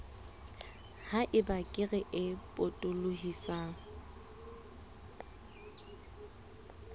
ha eba kere e potolohisang